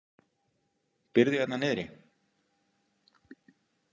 Býrðu hérna niðri?